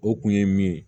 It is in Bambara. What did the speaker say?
O kun ye min ye